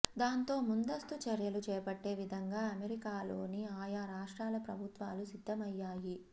దాంతో ముందస్తు చర్యలు చేపట్టే విధంగా అమెరికాలోని ఆయా రాష్ట్రాల ప్రభుత్వాలు సిద్దమయ్యాయి